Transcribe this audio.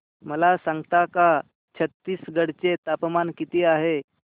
मला सांगता का छत्तीसगढ चे तापमान किती आहे